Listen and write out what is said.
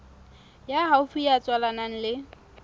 ya haufi ya tswalanang le